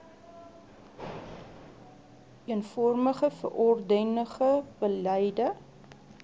eenvormige verordenige beleide